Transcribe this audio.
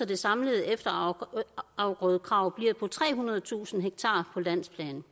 det samlede efterafgrødekrav bliver trehundredetusind ha på landsplan